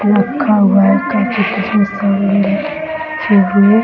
रखा हुआ है